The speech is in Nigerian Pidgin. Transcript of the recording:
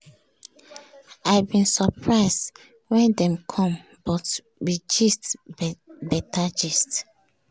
i bin surprise when dem com but we gist beta gist.